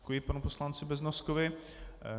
Děkuji panu poslanci Beznoskovi.